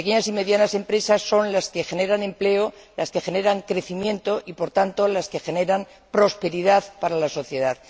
Las pequeñas y medianas empresas son las que generan empleo, las que generan crecimiento y, por tanto, las que generan prosperidad para la sociedad.